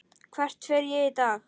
Hvert fer ég í dag?